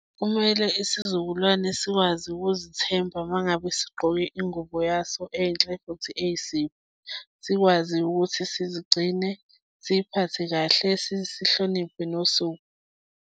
Kumele isizukulwane sikwazi ukuzithemba uma ngabe sigqoke ingubo yaso enhle futhi eyisiko. Sikwazi ukuthi sizigcine, siyiphathe kahle, sihloniphe nosuku.